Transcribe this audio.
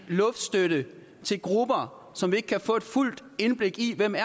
luftstøtte til grupper som vi ikke kan få et fuldt indblik i hvem er